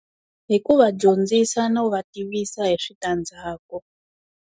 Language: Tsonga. Hi ku va dyondzisa no va tivisa hi swi ta ndzhaku.